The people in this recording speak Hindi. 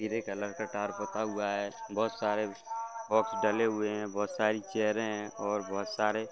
ग्रे कलर का टार पुता हुआ है बहुत सारे बॉक्स डले हुए हैं बहुत सारी चैयरे हैं और बहुत सारे --